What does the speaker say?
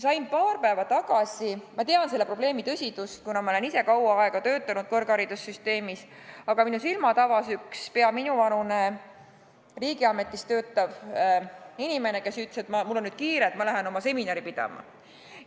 Ma tean selle probleemi tõsidust, kuna olen ise kaua aega kõrgharidussüsteemis töötanud, aga minu silmad avas paar päeva tagasi üks peaaegu minuvanune riigiametis töötav inimene, kes ütles, et mul on nüüd kiire, ma lähen oma seminari pidama.